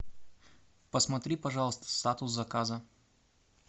посмотри пожалуйста статус заказа